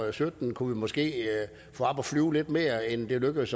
og sytten kunne vi måske få op at flyve lidt mere end det lykkedes